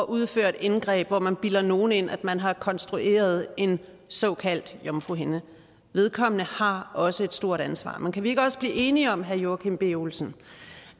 udføre et indgreb hvor man bilder nogen ind at man har konstrueret en såkaldt jomfruhinde har også et stort ansvar men kan vi ikke også blive enige om herre joachim b olsen